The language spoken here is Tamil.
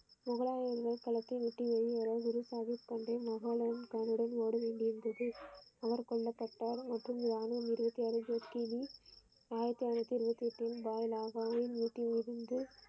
முகலாயர்கள் களத்தை விட்டு ஏறி வரவும் குருசாகிப் தந்தை மகனுடன் ஓட வேண்டியது இருந்தது அவர் கொல்லப்பட்டார் மொத்தம் யானை ஆயிரத்தி ஐனுத்தி இருபத்தி எட்டு வீட்டிலிருந்து.